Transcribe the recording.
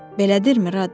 Belədirmi, Radde?